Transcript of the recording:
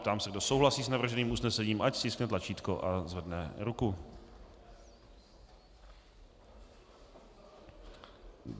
Ptám se, kdo souhlasí s navrženým usnesením, ať stiskne tlačítko a zvedne ruku.